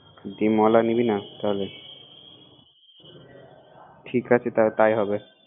ডিম আলা দিবি না তাহলে ঠিক আছে তাই হবে